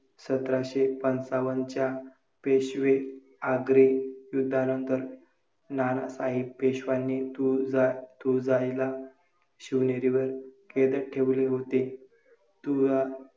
आपले वाचन लेखन, इत्यादी छंद जोपासून नेहमी आनंदी रहा. कोणत्याही क्षेत्रात आपला चांगला ठसा उमटवा आत्मनिर्भर बना.